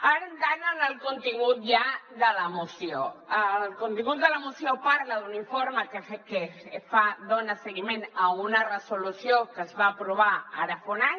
ara entrant en el contingut ja de la moció el contingut de la moció parla d’un informe que dona seguiment a una resolució que es va aprovar ara fa un any